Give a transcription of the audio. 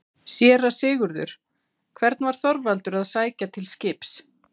SÉRA SIGURÐUR: Hvern var Þorvaldur að sækja til skips?